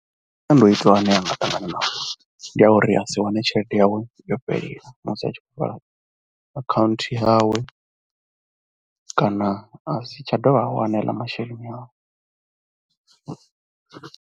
Masiandoitwa ane a nga ṱangana nao ndi a uri a si wane tshelede yawe yo fhelela musi a tshi khou vala akhaunthu yawe kana a si tsha dovha a wana aḽa masheleni awe.